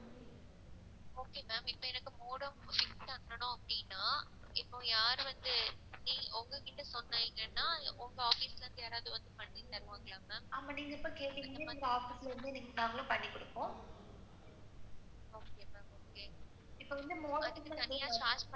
அப்படி நீங்க வந்து கேட்டீங்கன்னா எங்க office ரெண்டு நாள்ல பண்ணி குடுப்போம்.